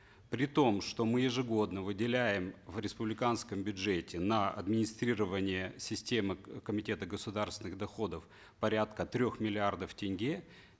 при том что мы ежегодно выделяем в республиканском бюджете на администрирование системы комитета государственных доходов порядка трех миллиардов тенге